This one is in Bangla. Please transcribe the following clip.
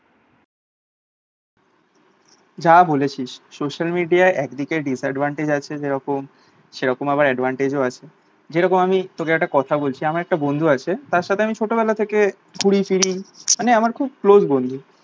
যা বলেছিস social media একদিকে disadvantage আছে যেরকম সেরকম আবার advantage ও আছে যেরকম আমি তোকে একটা কথা বলছি আমার একটা বন্ধু আছে তার সাথে আমি ছোটো বেলা থেকে ঘুড়ি ফিরি মানে আমার খুব close বন্ধু